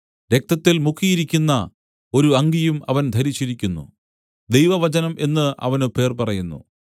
രക്തത്തിൽ മുക്കിയിരിക്കുന്ന ഒരു അങ്കിയും അവൻ ധരിച്ചിരിക്കുന്നു ദൈവവചനം എന്നു അവന് പേർ പറയുന്നു